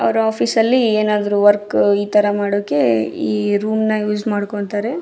ಅವ್ರ ಆಫೀಸ್ ಅಲ್ಲಿ ಏನಾದ್ರು ವರ್ಕ್ ಇತರ ಮಾಡೋಕೆ ಈ ರೂಮ್ನ ಯೂಸ್ ಮಾಡ್ಕೊಂತಾರೆ.